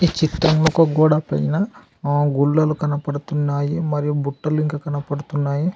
చిత్రం ఒక గోడ పైన ఆ గుళ్లలు కనపడుతున్నాయి మరియు బుట్ట లింక కనపడుతున్నాయి.